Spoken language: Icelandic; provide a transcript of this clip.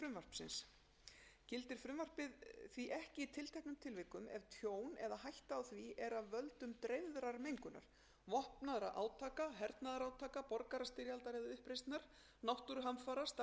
frumvarpið því ekki í tilteknum tilvikum ef tjón eða hætta á því er af völdum dreifðrar mengunar vopnaðra átaka hernaðarátaka borgarastyrjaldar eða uppreisnar náttúruhamfara starfsemi til að þjóna landvörnum eða